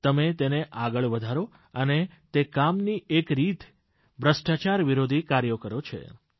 તમે તેને આગળ વધારો અને તે કામની એક રીતે ભ્રષ્ટાચાર વિરોધી કાર્યકરો છે